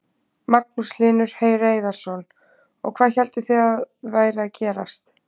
Magnús Hlynur Hreiðarsson: Og hvað hélduð þið að væri að gerast?